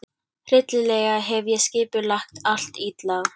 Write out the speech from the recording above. Hryllilega hef ég skipulagt allt illa.